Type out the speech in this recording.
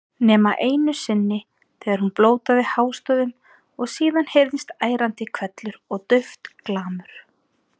Nema einu sinni þegar hún blótaði hástöfum og síðan heyrðist ærandi hvellur og dauft glamur.